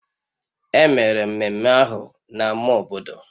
Emere ememme ahụ na ama obodo